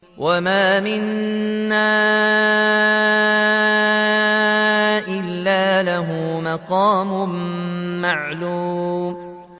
وَمَا مِنَّا إِلَّا لَهُ مَقَامٌ مَّعْلُومٌ